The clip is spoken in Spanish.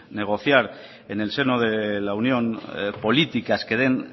negociar en el seno de la unión políticas que den